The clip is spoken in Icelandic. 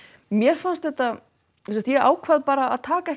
mér fannst þetta sem sagt ég ákvað bara að taka